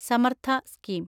Samarth scheme